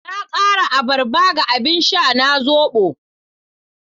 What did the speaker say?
Na kara abarba ga abin sha na zobo